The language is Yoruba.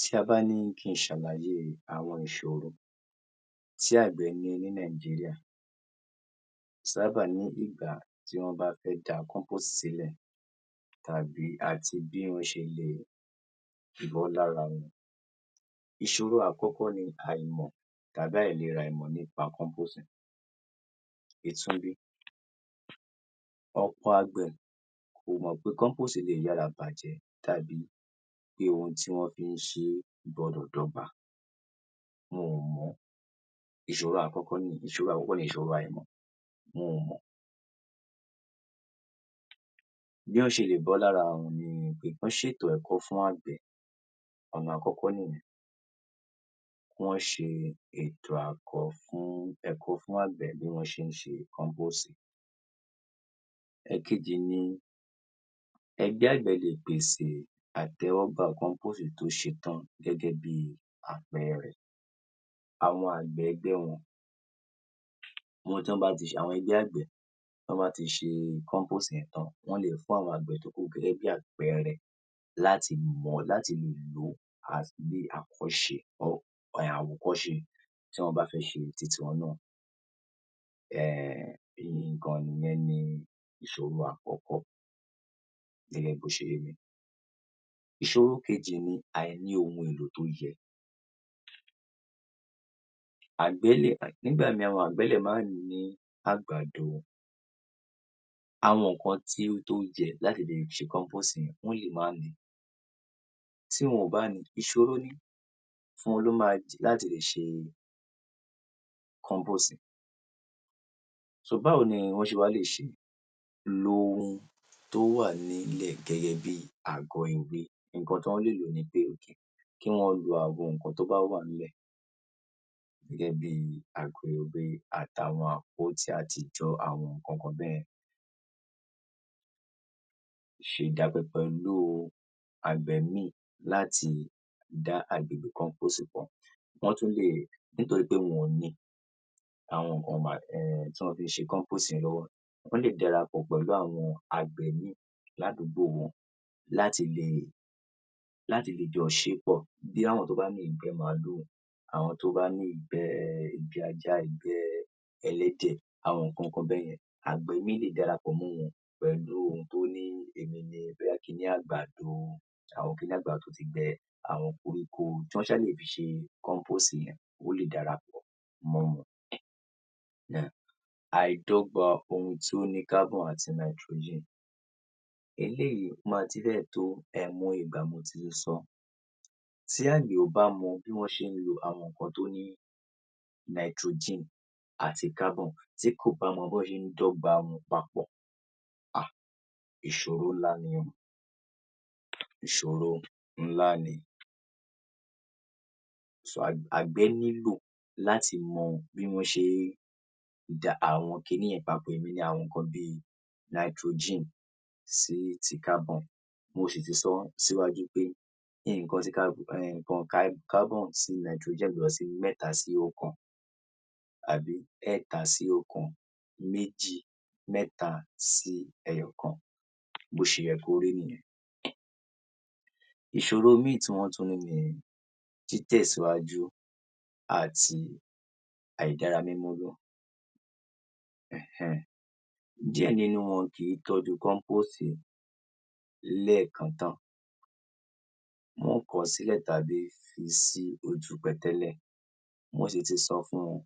Tí a bá ní kí n ṣàlàyé àwọn ìṣòro tí àgbẹ̀ ní ní Nàìjíríà, sábà ní ìgbà tí wọ́n bá fẹ́ da compost sílẹ̀ tàbí àti bí wọ́n ṣe lè bọ́ lára wọn. Ìṣòro àkọ́kọ́ ni àìmọ̀ tàbí àìleràìmọ̀ nípa compost yẹn. Itúnbí, ọ̀pọ̀ àgbẹ̀ kò mọ̀ pé compost le yára bàjẹ́ tàbí pé ohun tí wọ́n fi ń ṣeé gbọdọ̀ dọ́gba. Wọn ò mọ̀, ìṣòro àkọ́kọ́ nìyẹn. Ìṣòro àkọ́kọ́ ni ìṣòro àìmọ̀, wọn ò mọ̀. Bí wọ́n ṣe lè bọ́ lára àwọn wọ̀nyìí ni pé kán ṣètò ẹ̀kọ́ fún àgbẹ̀, Ọ̀nà àkọ́kọ́ nìyẹn. Kí wọ́n ṣe ètò àkọ́ fún ẹ̀kọ́ fún àgbẹ̀ bí wọ́n ṣe ń ṣe compost yẹn. Ẹ̀kejì ni ẹgbẹ́ àgbẹ̀ le pèsè àtẹ́wọ́gbà compost tó ṣe tán gẹ́gẹ́ bíi àpẹẹrẹ, àwọn àgbẹ̀ ẹgbẹ́ wọn wọn tán bá ti ṣe àwọn ẹgbẹ́ àgbẹ̀ tí wọ́n bá ti ṣe compost yẹn tán, wọn le fún àwọn àgbẹ̀ tó kù gẹ́gẹ́ bí àpẹẹrẹ láti mọ̀, láti lò ó as bíi àkọ́ṣe or àwòkọ́ṣe tí wọ́n bá fẹ́ ṣe titi wọn náà. Um ìyẹn ni ìṣòro àkọ́kọ́ gẹ́gẹ́ bó ṣe yé mi. Ìṣòro kejì ni àìní ohun èlò tó yẹ. Àgbẹ̀ lè, nígbà míì àwọn àgbẹ̀ lè má ní àgbàdo, àwọn nǹkan tí ó tó jẹ láti lè fi ṣe compost yẹn, wọ́n lè má nìí. Tí wọn ò bá ní, ìṣòro ni, fún wọn ló máa dì láti lè ṣe compost yẹn. So báwo ni wọ́n ṣe wá lè ṣeé, lo ohun tó wà nílẹ̀ gẹ́gẹ́ bíi àgọ̀-èwe, nǹkan tí wọ́n lè lò ni pé okay, kí wọ́n lo àwọn nǹkan tó bá wà ńlẹ̀ gẹ́gẹ́ bíi àgọ̀-èwe àtàwọn àtijọ́ àwọn nǹkan kan bẹ́yẹn, ṣe ìdapẹpẹ lo àgbẹ̀ míì láti dá agbègbè compost kan. Wọ́n tún lè, nítorí pé wọn ò ní, àwọn nǹkan bá, um tí wọ́n fi ń ṣe compost yẹn lọ́wọ́. Wọ́n lè dárapọ̀ pẹ̀lú àwọn àgbẹ̀ míì ládùúgbò wọn láti lè, láti lè jọ ṣeé pọ̀. Bí àwọn tó bá ní ìgbẹ́ màlúù, àwọn tó bá ní ìgbẹ́ ajá, ìgbẹ́ ẹlẹ́dẹ̀, àwọn nǹkan kan bẹ́yẹn. Àgbẹ̀ míì lè dárapọ̀ mọ́ pẹ̀lú ohun tó ní egunjẹ bóyá ki ní àgbàdo, àwọn ki ní àgbàdo tó ti gbẹ, àwọn koríko tí wọ́n ṣá lè fi ṣe compost yẹn, ó lè dára pọ̀ mọ́ wọn. Yeah, àìdọ́gba ohun tó ní carbon àti nitrogen. Eléyìí ma ti fẹ́ẹ̀ tó àìmọye ìgbà mo ti ń sọ ọ́. Tí àgbẹ̀ ò bá mọ bí wọ́n ṣe ń lo àwọn nǹkan tó ní nitrogen àti carbon, tí kò bá mọ bí wọ́n ṣe ń dọ́gba wọn papọ̀, Ah ìṣòro ńlá ni ó, ìṣòro ńlá ni. So àgbẹ̀ àgbẹ̀ nílò láti mọ bí wọ́n ṣe ń dà àwọn ki ní yẹn papọ̀, èmi ni àwọn nǹkan bíi nitrogen sí ti carbon. Mo sì ti sọ ọ́ síwájú pé nǹkan tí ká, nǹkan ká, carbon sí nitrogen ẹ gbọdọ̀ ṣe mẹ́ta sí oókan, àbí ẹẹ́ta sí oókan, méjì, mẹ́ta sí ẹyọọ̀kan. Bó ṣe yẹ kó rí nìyẹn. Um. Ìṣòro míì tí wọ́n tún ní ni títẹ̀síwájú àti àìdára Um um, díẹ̀ nínú wọn kì í tọ́jú compost ẹ̀ lẹ́ẹ̀kan tán, wọ́n kọ̀ ọ́ sílẹ̀ tàbí fi sí ojú pẹ̀tẹ́lẹ̀. Mo sì ti sọ fún wọn,